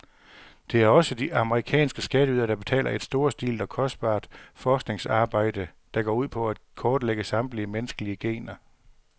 Det er også de amerikanske skatteydere, der betaler et storstilet og kostbart forskningsarbejde, der går ud på at kortlægge samtlige menneskelige gener.